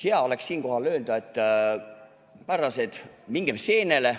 Hea oleks siinkohal öelda: härrased, mingem seenele!